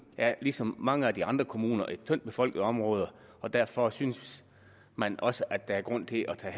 er ligesom mange af de andre kommuner et tyndt befolket område og derfor synes man også at der er grund til at tage